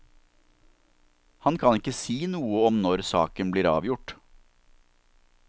Han kan ikke si noe om når saken blir avgjort.